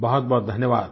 बहुत बहुत धन्यवाद